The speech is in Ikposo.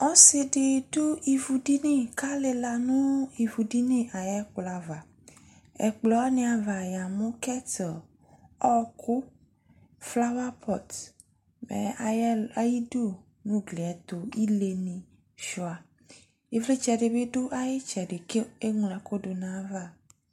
ɔsiidi dʋ ivʋ dini kʋalila nʋ ivʋ dini ayi ɛkplɔ aɣa, ɛkplɔ waniaɣa yamʋ kettle, ɔkʋ, flower pot, mɛ ayidʋ nʋ ʋgliɛ ɛtʋ ilɛ ni sʋa, ivlitsɛ dini bi lɛnʋ ayi ɛtsɛdɛ kʋɛmlɔ ɛkʋ dʋnʋ ayiava